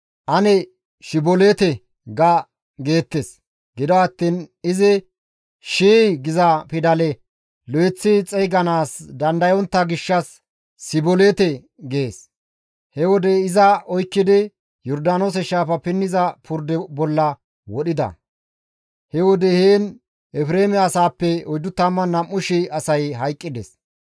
«Ane, ‹Shiboleete› ga» geettes. Gido attiin izi, «Shii» giza pidale lo7eththi xeyganaas dandayontta gishshas, «Siboleete» gees; he wode iza oykkidi Yordaanoose shaafa pinniza purde bolla wodhida; he wode heen Efreeme asaappe 42,000 asay hayqqides.